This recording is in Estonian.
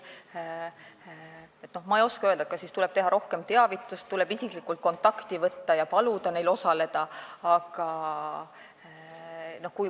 Ma ei oska öelda, kas tuleb teha rohkem teavitust või tuleb isiklikult kontakti võtta ja paluda neil osaleda.